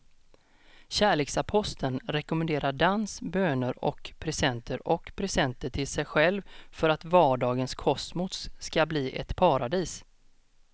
Kärleksaposteln rekommenderar dans, böner och presenter och presenter till sig själv för att vardagens kosmos ska bli ett paradis.